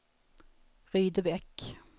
Rydebäck